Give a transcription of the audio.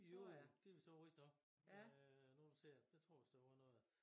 Jo det vist også rigtig nok øh nu det siger det der tror jeg vist der var noget ja